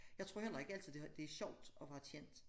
Jeg tror heller ikke altid det har det sjovt at være kendt